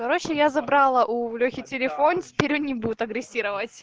короче я забрала у лехи телефон теперь он не будет агрессировать